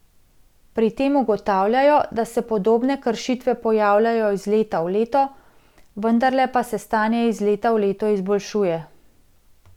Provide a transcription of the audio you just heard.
Pri tem ugotavljajo, da se podobne kršitve pojavljajo iz leta v leto, vendarle pa se stanje iz leta v leto izboljšuje.